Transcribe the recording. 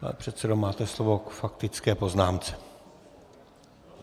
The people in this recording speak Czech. Pane předsedo, máte slovo k faktické poznámce.